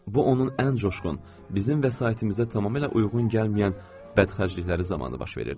Bu onun ən coşğun, bizim vəsaitimizə tamamilə uyğun gəlməyən bədxərclikləri zamanı baş verirdi.